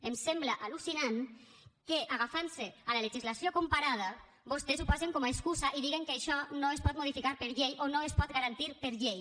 em sembla al·lucinant que agafant se a la legislació comparada vostès ho posen com a excusa i diguen que això no es pot modificar per llei o no es pot garantir per llei